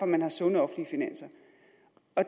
man har sunde offentlige finanser